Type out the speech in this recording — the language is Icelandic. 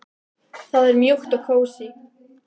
Það er mjúkt og kósí.